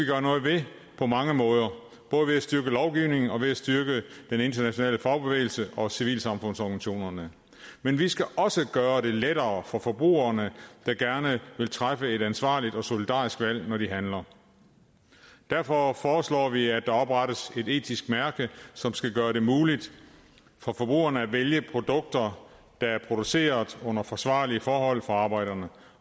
gøre noget ved på mange måde både ved at styrke lovgivningen og ved at styrke den internationale fagbevægelse og civilsamfundsorganisationerne men vi skal også gøre det lettere for forbrugerne der gerne vil træffe et ansvarligt og solidarisk valg når de handler derfor foreslår vi at der oprettes et etisk mærke som skal gøre det muligt for forbrugerne at vælge produkter der er produceret under forsvarlige forhold for arbejderne